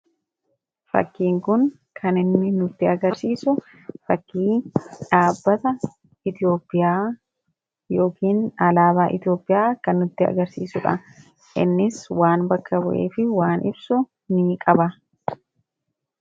fakkii kun kan inni nutti agarsiisu fakkii dhaabbata iitiyoopiyaa yookiin alaabaa iitiyoopiyaa kan nutti agarsiisuudha innis waan bakkabu'ee fi waan ibsu ni qaba